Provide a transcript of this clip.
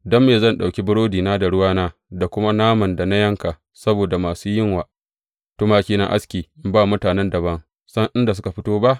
Don me zan ɗauki burodina da ruwana, da kuma naman da na yanka saboda masu yin wa tumakina aski in ba mutanen da ban ma san inda suka fito ba?